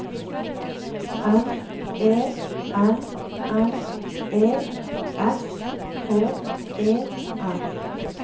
M E N N E S K E R